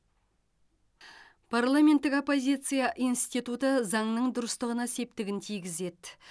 парламенттік оппозиция институты заңның дұрыстығына септігін тигізеді